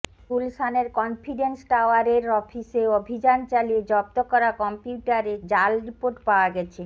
গুলশানের কনফিডেন্স টাওয়ারের অফিসে অভিযান চালিয়ে জব্দ করা কম্পিউটারে জাল রিপোর্ট পাওয়া গেছে